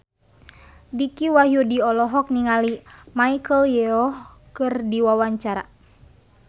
Dicky Wahyudi olohok ningali Michelle Yeoh keur diwawancara